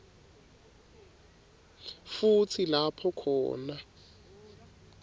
futsi lapho khona